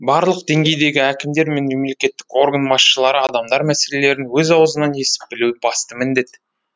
барлық деңгейдегі әкімдер мен мемлекеттік орган басшылары адамдар мәселелерін өз аузынан естіп білуі басты міндет